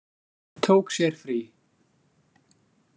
Tók sér frí.